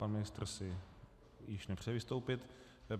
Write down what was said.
Pan ministr si již nepřeje vystoupit.